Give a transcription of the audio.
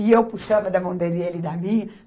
E eu puxava da mão dele e ele da minha.